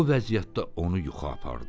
O vəziyyətdə onu yuxu apardı.